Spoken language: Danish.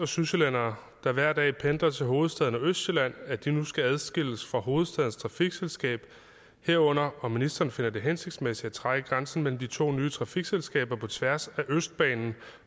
og sydsjællændere der hver dag pendler til hovedstaden og østsjælland at de nu skal adskilles fra hovedstadens trafikselskab herunder om ministeren finder det hensigtsmæssigt at trække grænsen mellem de to nye trafikselskaber på tværs af østbanen